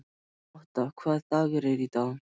Otta, hvaða dagur er í dag?